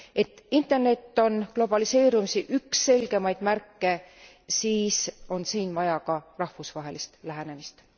Et Internet on globaliseerumise üks selgemaid märke, siis on siin vaja ka rahvusvahelist lähenemist.